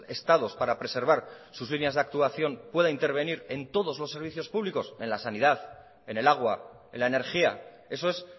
estados para preservar sus líneas de actuación pueda intervenir en todos los servicios públicos en la sanidad en el agua en la energía eso es